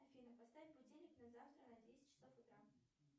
афина поставь будильник на завтра на десять часов утра